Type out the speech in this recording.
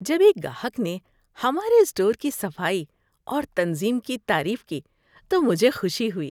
‏جب ایک گاہک نے ہمارے اسٹور کی صفائی اور تنظیم کی تعریف کی تو مجھے خوشی ہوئی۔